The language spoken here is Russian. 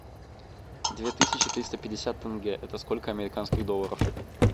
две тысячи триста пятьдесят тенге это сколько американских долларов